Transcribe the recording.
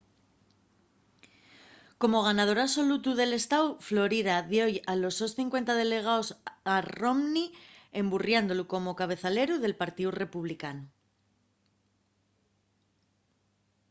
como ganador absolutu del estáu florida dio-y los sos cincuenta delegaos a romney emburriándolu como cabezaleru del partíu republicanu